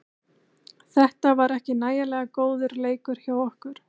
Þetta var ekki nægilega góður leikur hjá okkur.